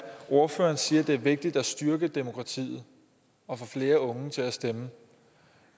ordføreren siger at det er vigtigt at styrke demokratiet og få flere unge til at stemme